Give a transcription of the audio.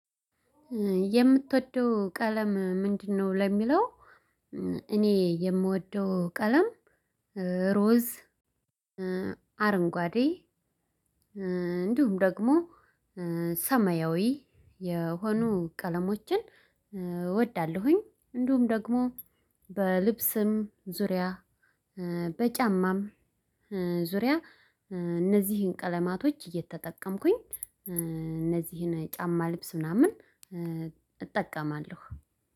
የምትወደው ቀለም ምንድነው? ለሚለው እኔ የምወደው ቀለም እሮዝ አረንጓዴ እንዲሁም ደግሞ ሰማያዊ የሆኑ ቀለሞችን እወዳለሁኝ። እንዲሁም ደግሞ በልብስም ዙሪያ በጫማም ዙሪያ እነዚህን ቀለማቶች እየተጠቀምኩኝ እነዚህን ጫማ ልብስ ምናምን እጠቀማለሁ።